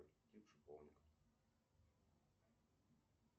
шиповник